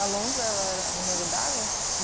A lontra ela era o Nego d'água?